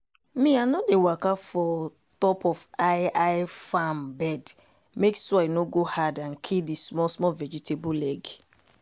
me i no dey waka for top of high-high farm bed mek soil no go hard and kill di small-small vegetable leg.